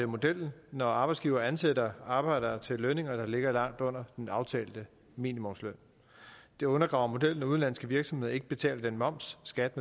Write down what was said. modellen når arbejdsgivere ansætter arbejdere til lønninger der ligger langt under den aftalte minimumsløn det undergraver modellen når udenlandske virksomheder ikke betaler den moms skat